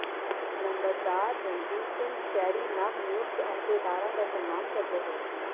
ਨੰਬਰਦਾਰ ਰਣਜੀਤ ਸਿੰਘ ਸ਼ੈਰੀ ਨਵਨਿਯੁਕਤ ਅਹੁਦੇਦਾਰਾਂ ਦਾ ਸਨਮਾਨ ਕਰਦੇ ਹੋਏ